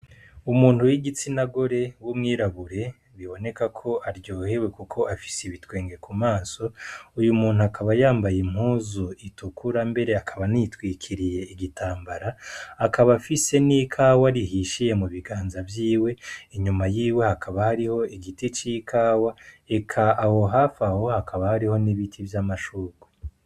Umuntu w'igitsina gore w'umwirabure biboneka ko aryohewe kuko afise ibitwenge ku maso, uyu muntu akaba yambaye impuzu itukura mbere akaba anitwikiriye igitambara, akaba afise n'ikawa rihishiye mu biganza vyiwe, inyuma yiwe hakaba hariho igiti c'ikawa, eka aho hafi aho hakaba hari n'ibiti vy'amashurwe.